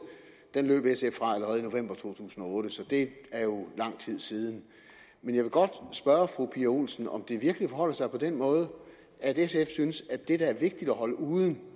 af at løb sf fra allerede i november to tusind og otte så det er jo lang tid siden men jeg vil godt spørge fru pia olsen dyhr om det virkelig forholder sig på den måde at sf synes at det der er vigtigt at holde uden